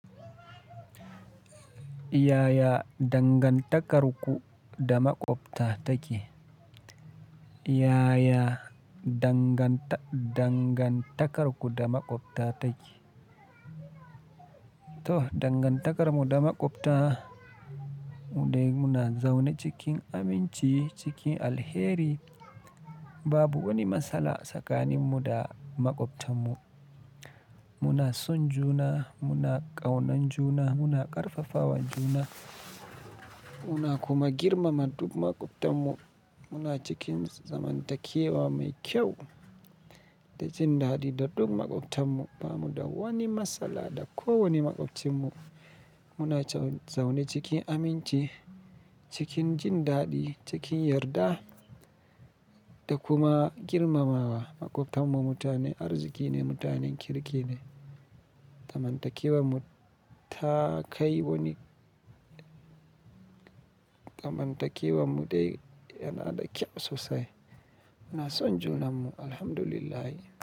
Yaya dangantakarku da maƙwabta take? Yaya danganta-dangantakarku da maƙwabta take? To dangantakarmu da maƙwabta, mu dai muna zaune cikin aminci, cikin alheri. Babu wani matsala tsakanin mu da maƙwabtanmu. Muna son juna, muna ƙaunan juna, muna ƙarfafawan juna, muna kuma girmama duk maƙwabtanmu. Muna cikin zamantakewa mai kyau da jin daɗi da duk maƙwabtanmu. Ba mu da wani matsala da kowane maƙwabcinmu. Muna zaune cikin aminci, cikin jin daɗi, cikin yarda da kuma girmamawa maƙwabtanmu. Mutanen arziki ne, mutanen kirki ne. Zamantakewar mu ta kai wani Zamantakewar mu dai yana da kyau sosai. Muna son junanmu, Alhamdulillah.